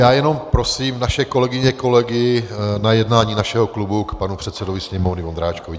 Já jenom prosím naše kolegyně, kolegy na jednání našeho klubu k panu předsedovi Sněmovny Vondráčkovi.